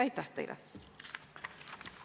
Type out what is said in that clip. Aitäh teile!